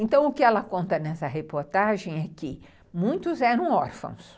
Então, o que ela conta nessa reportagem é que muitos eram órfãos.